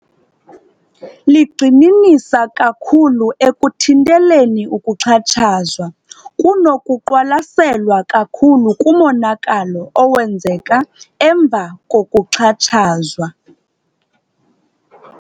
Ligxininisa kakhulu ekuthinteleni ukuxhatshazwa kunokuqwalaselwa kakhulu kumonakalo owenzeka emva kokuxhatshazwa.